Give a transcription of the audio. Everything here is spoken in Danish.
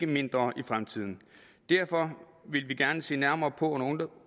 mindre i fremtiden og derfor vil vi gerne se nærmere på